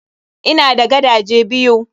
Ina da gadaje biyu.